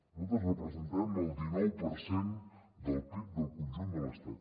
nosaltres representem el dinou per cent del pib del conjunt de l’estat